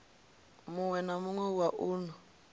muwe na muwe wa uno